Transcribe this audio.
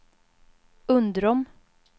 Undrom